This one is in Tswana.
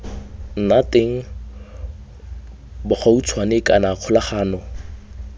nna teng bogautshwane kana kgolagano